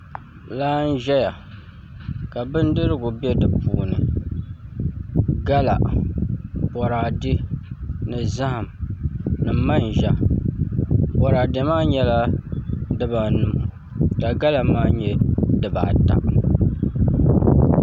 Laa n ʒɛya ka bindirigu bɛ di puuni gala boraadɛ ni zaham ni manʒa boraadɛ maa nyɛla dibanu ka gala maa nyɛ dibata